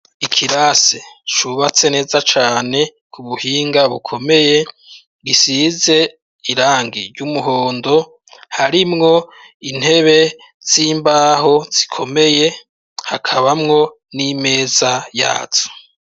Ikirasi cubatse neza cane ku buhinga bukomeye gisize irangi ry'umuhondo, harimwo intebe z'imbaho zikomeye hakabamwo n'imeza yazo.